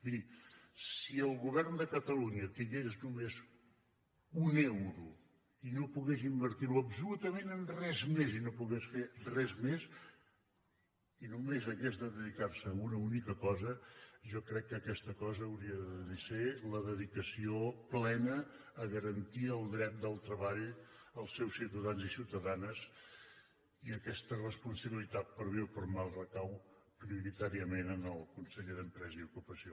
miri si el govern de catalunya tingués només un euro i no pogués invertir lo absolutament en res més i no pogués fer res més i només hagués de dedicar se a una única cosa jo crec que aquesta cosa hauria de ser la dedicació plena a garantir el dret del treball als seus ciutadans i ciutadanes i aquesta responsabilitat per a bé o per a mal recau prioritàriament en el conseller d’empresa i ocupació